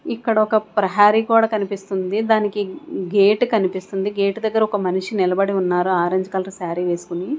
ఇక్కడ ఒక ప్రహరీ గోడ కనిపిస్తుంది దానికి గేటు కనిపిస్తుంది గేటు దగ్గర ఒక మనిషి నిలబడి ఉన్నారు ఆరెంజ్ కలర్ సారీ వేసుకుని.